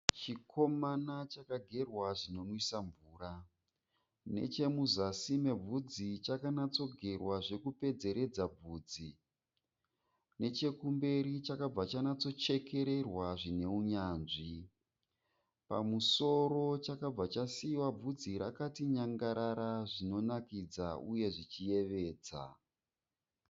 Chikomana chakagerwa zvinonwisa mvura. Nechemuzasi mebvudzi chakanyanatsogerwa zvokupedzeredza bvunzi. Nechekumberi chakabva chanytsochekererwa zvine unyanzvi. Pamusoro chakabva chasiyiwa bvudzi rakati nyangarara zvinonakidza uye zvichiyevedza.